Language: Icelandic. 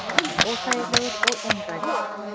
Óþægilegur og einrænn.